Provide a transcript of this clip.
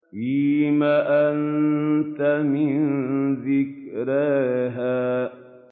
فِيمَ أَنتَ مِن ذِكْرَاهَا